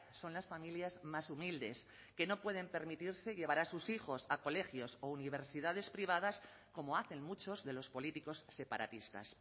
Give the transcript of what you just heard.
son las familias más humildes que no pueden permitirse llevar a sus hijos a colegios o universidades privadas como hacen muchos de los políticos separatistas